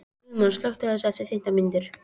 Guðmann, slökktu á þessu eftir fimmtán mínútur.